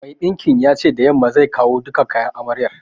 Mai ɗinkin ya ce da yamma zai kawo duka kayan amaryar